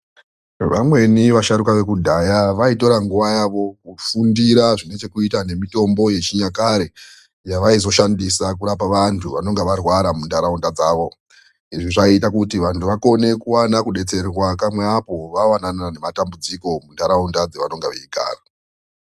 Vamweni vasharukwa vekudhaya vaikona kutora nguva yavo kufundira zvine chekuita ngemitombo yechinyakare yavaizoshandisa kurapa vantu vanenge varwara mundaraunda dzawo. Izvi zvaita kuti vantu vakone kuvana kubetserwa kamwe apo vavanana nematambudziko mundaraunda dzavanenge vaigara.